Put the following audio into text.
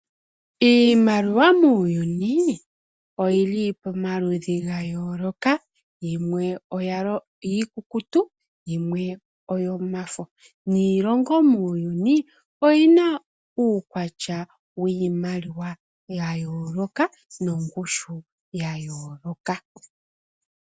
Iimaliwa muuyuuni oyili pamaludhi ga yooloka, yimwe iikukutu yimwe oyomafo, niilongo muuyuuni oyina uukwatya wiimaliwa ya yooloka nongushu ya yooloka.